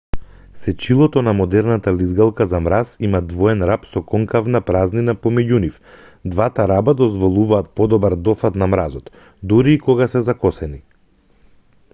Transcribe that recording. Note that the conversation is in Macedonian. сечилото на модерната лизгалка за мраз има двоен раб со конкавна празнина помеѓу нив двата раба дозволуваат подобар дофат на мразот дури и кога се закосени